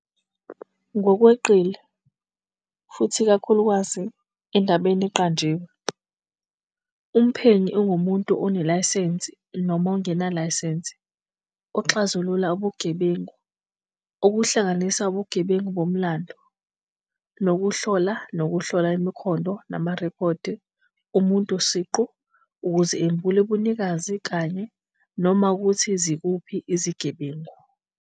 Ngokweqile, futhi ikakhulukazi endabeni eqanjiwe, umphenyi ungumuntu onelayisensi noma ongenalayisense oxazulula ubugebengu, okuhlanganisa ubugebengu bomlando, ngokuhlola nokuhlola imikhondo namarekhodi omuntu siqu ukuze embule ubunikazi kanye, noma ukuthi bakuphi izigebengu.